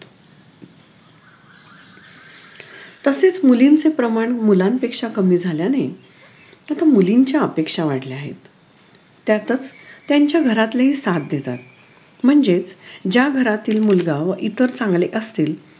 तसेच मुलींचे प्रमाण मुलांपेक्षा कमी झाल्याने त्यातच मुलींच्या अपेक्षा वाढल्या आहेत त्यातच त्यांच्या घरातले साथ देतात म्हणजेच ज्या घरातील मुलगा व इतर चांगले असतील